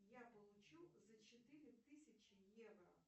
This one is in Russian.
я получу за четыре тысячи евро